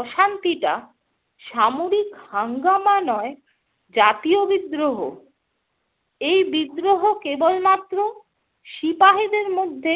অশান্তিটা সামরিক হাঙ্গামা নয় জাতীয় বিদ্রোহ। এই বিদ্রোহ কেবল মাত্র সিপাহিদের মধ্যে